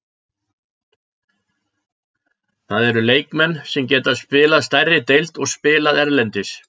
Það eru leikmenn sem geta spilaði stærri deild og spilað erlendis.